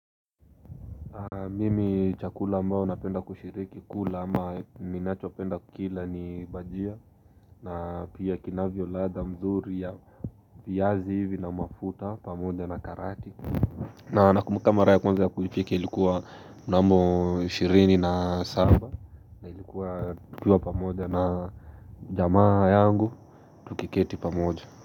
Mimi chakula mbao napenda kushiriki kula ama minacho penda kukila ni bajia na pia kinavyo ladha mzuri ya viazi hivi na mafuta pamoja na karate na nakumbuka mara ya kwanza kuipiki ilikuwa mnamo 20 na saba ilikuwa pamoja na jamaa yangu tukiketi pamoja.